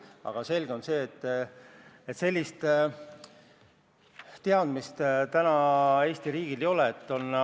Aga selge on, et sellist teadmist Eesti riigil praegu ei ole.